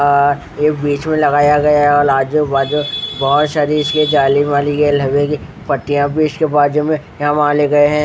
अह ये बीच में लगाया गया और आजू बाजू बहुत सारी इसमें जाली वाली पट्टियाँ भी इसके बाजू में यहाँ माले गए है ।